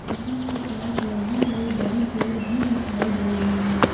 इसी के पास लगी हुई बड़ी पेड़ भी दिखाई दे रही है।